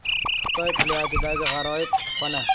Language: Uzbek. Xitoy plyajidagi g‘aroyib kutubxona .